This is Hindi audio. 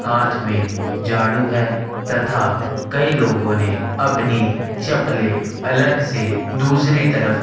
हाथ में झाड़ू है तथा कई लोगो ने अपनी चप्पलें अलग से दूसरी तरफ--